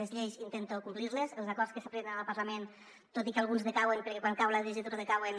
les lleis intento complir·les els acords que s’aproven al parlament tot i que alguns decauen perquè quan cau la legislatura decauen